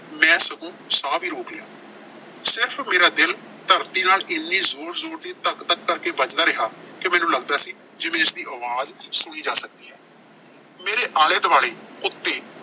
ਮੈਂ ਸਗੋਂ ਸਾਹ ਵੀ ਰੋਕ ਲਿਆ। ਸਿਰਫ਼ ਮੇਰਾ ਦਿਲ ਧਰਤੀ ਨਾਲ ਏਨੀ ਜ਼ੋਰ-ਜ਼ੋਰ ਦੀ ਧਕ ਧਕ ਕਰਕੇ ਵੱਜਦਾ ਰਿਹਾ ਕਿ ਮੈਨੂੰ ਲੱਗਦਾ ਸੀ ਜਿਵੇਂ ਇਸਦੀ ਆਵਾਜ਼ ਸੁਣੀ ਜਾ ਸਕਦੀ ਹੈ। ਮੇਰੇ ਆਲੇ-ਦੁਆਲੇ, ਉੱਤ